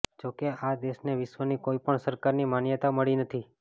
જો કે આ દેશને વિશ્વની કોઈપણ સરકારની માન્યતા મળી નથી